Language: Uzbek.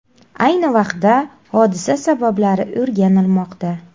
Ayni vaqtda hodisa sabablari o‘rganilmoqda.